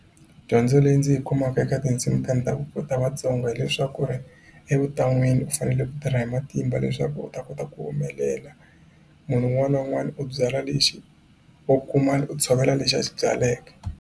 Dyondzo leyi ndzi yi kumaka eka tinsimu ta ndhavuko wa Vatsongo hileswaku ri evuton'wini u fanele ku tirha hi matimba leswaku u ta kota ku humelela munhu un'wana na un'wana u byala lexi wo kuma u tshovela lexi a xi byaleka.